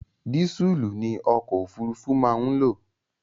Dísùlù ni ọkọ̀ òfurufú máa ń lò.